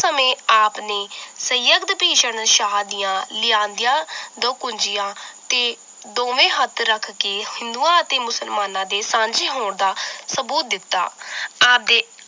ਸਮੇਂ ਆਪ ਨੇ ਸੰਯਗਦ ਭੀਸ਼ਨ ਸ਼ਾਹ ਦੀਆਂ ਲਿਆਂਦੀਆਂ ਦਕੁਨਜੀਆਂ ਤੇ ਦੋਵੇਂ ਹੱਥ ਰੱਖ ਕੇ ਹਿੰਦੂਆਂ ਅਤੇ ਮੁਸਲਮਾਨਾਂ ਦੇ ਸਾਂਝੇ ਹੋਣ ਦਾ ਸਬੂਤ ਦਿੱਤਾ